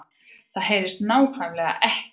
Það HEYRIST NÁKVÆMLEGA EKKI